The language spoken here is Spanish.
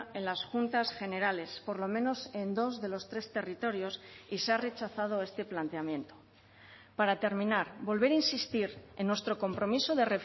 en las juntas generales por lo menos en dos de los tres territorios y se ha rechazado este planteamiento para terminar volver a insistir en nuestro compromiso de